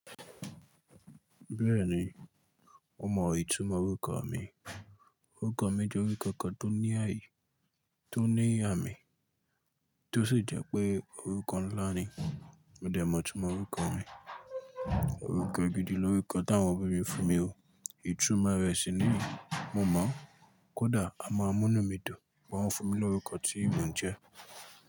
Bẹ́ẹ̀ni, mo mọ ìtumọ̀ orúkọ mi. Orúkọ mi jẹ́ orúkọ kan tó ní àmì, tó sì jẹ́ pé orúkọ ńlá ni. Mo dẹ mọ̀ ìtumọ̀ orúkọ mi. Orúkọ gidi lórúkọ tí àwọn òbí mi fún mi o. Ìtumọ̀ rẹ̀ sì nìyí. Mo mọ̀, kódà a máa mú nu mí dun pe wọ́n fún mi lórúkọ tí ìmo n jẹ́.